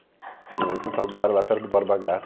Fiquei lá em Santo Amaro, lá perto do Borba Gato.